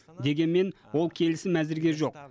дегенмен ол келісім әзірге жоқ